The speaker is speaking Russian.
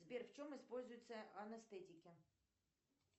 сбер в чем используются анестетики